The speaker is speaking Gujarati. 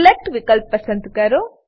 સિલેક્ટ વિકલ્પ પસંદ કરો